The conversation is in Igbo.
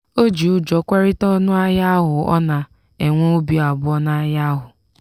o ji ụjọ kwerịta ọnụ ahịa ahụ ọ na-enwe obị abụọ n'ahịa ahụ.